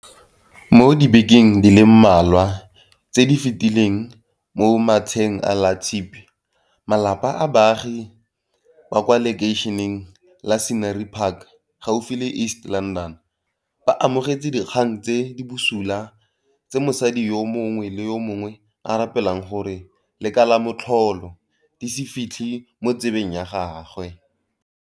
Mo dibekeng di le mmalwa tse di fetileng mo matsheng a Latshipi, malapa a baagi ba kwa lekeišeneng la Scenery Park gaufi le East London, ba amogetse dikgang tse di busula tse motsadi yo mongwe le yo mongwe a rapelang gore le ka la motlholo di se fitlhe mo 'tsebeng ya gagwe.